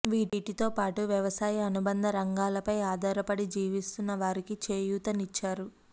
వీటితో పాటు వ్యవసాయ అనుబంధ రంగాలపై ఆధారపడి జీవిస్తున్న వారికి చేయూతనిచ్చారు